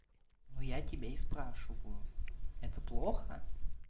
но я тебя и спрашиваю это плохо